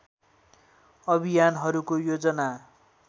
अभियानहरूको योजना